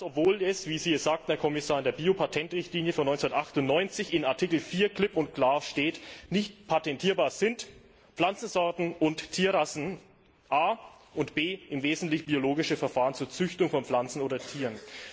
Und das, obwohl es wie Sie es sagten, Herr Kommissar in der Biopatentrichtlinie von 1998 in Artikel 4 klipp und klar steht Nicht patentierbar sind a Pflanzensorten und Tierrassen und b im Wesentlichen biologische Verfahren zur Züchtung von Pflanzen oder Tieren.